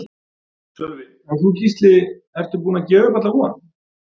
Sölvi: En þú Gísli, ertu búinn að gefa upp alla von?